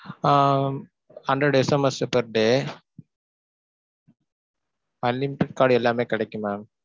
ஆஹ் hundred SMS per day unlimited call எல்லாமே கெடைக்கும் mam.